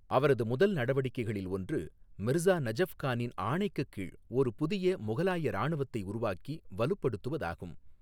அவரது முதல் நடவடிக்கைகளில் ஒன்று, மிர்சா நஜஃப் கானின் ஆணைக்குக் கீழ் ஒரு புதிய முகலாய இராணுவத்தை உருவாக்கி வலுப்படுத்துவதாகும்.